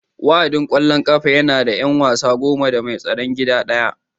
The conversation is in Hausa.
Wa'adin ƙwallon ƙafa yana da 'yan wasa goma da mai tsaron gida ɗaya